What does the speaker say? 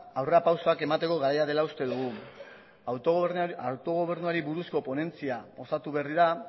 aurrerapausoak emateko garaia dela uste dugu autogobernuari buruzko ponentzia osatu berri da